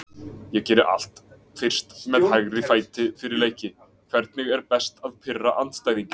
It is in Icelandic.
Ég geri allt fyrst með hægri fæti fyrir leiki Hvernig er best að pirra andstæðinginn?